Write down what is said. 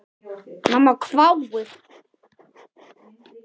Mamma hváir.